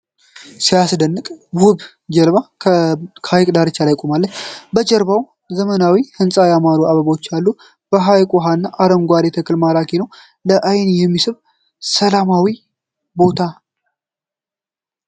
ሲያስደንቅ! ውብ ጀልባ በሐይቅ ዳርቻ ቆማለች። ከጀርባው ዘመናዊ ሕንፃና ያማሩ አበቦች አሉ። የሐይቁ ውሃና አረንጓዴው ተክል ማራኪ ነው። ለአይን የሚስብ ሰላማዊ ቦታ።